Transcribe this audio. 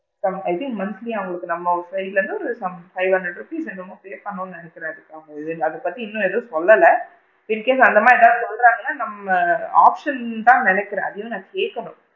I think monthly அவுங்களுக்கு நம்ம side ல இருந்து some five hundred rupees என்னமோ pay பண்ணுவாங்கன்னு நினைக்கிறன் பாப்போம் அத பத்தி இன்னும் எதுவும் சொல்லல incase அந்த மாதிரி ஏதாவது சொல்றாங்கனா நம்ம option தான் நினைக்கிறன் எதுவும் நான் கேக்கல,